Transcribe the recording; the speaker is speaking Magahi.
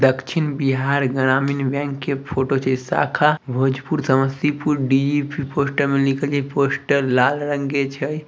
दक्षिण बिहार ग्रामीण बैंक के फोटो छै | शाखा भोजपुर समस्तीपुर निकली पोस्टर लाल रंग के छै ।